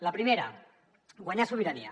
la primera guanyar sobirania